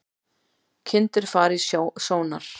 Kindur fara í sónar